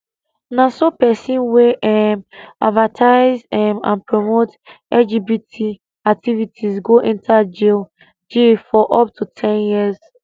na so pesin wey um advertise um and promote lgbt activities go enta jail jail for up to ten years